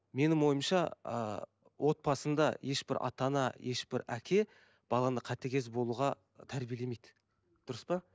менің ойымша ыыы отбасында ешбір ата ана ешбір әке баланы қатыгез болуға тәрбиелемейді дұрыс па